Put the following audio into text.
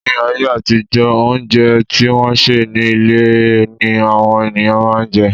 Ní ayé àtijó, óúnjẹ tí wọ́n sè ní ilé ni àwọn ènìyàn máà ń jẹ.